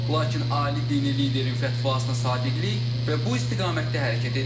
Lakin ali dini liderin fətvasına sadiqlik və bu istiqamətdə hərəkət edirik.